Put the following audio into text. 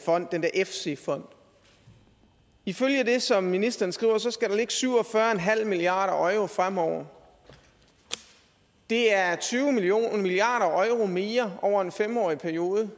fond den der efsi fond ifølge det som ministeren skriver skal der ligge syv og fyrre milliard euro fremover det er tyve milliard euro mere over en fem årig periode